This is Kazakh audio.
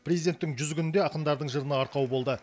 президенттің жүз күні де ақындардың жырына арқау болды